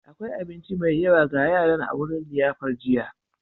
Akwai abinci mai yawa ga yaran a wurin liyafar jiya.